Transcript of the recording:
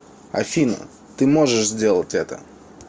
афина ты можешь сделать это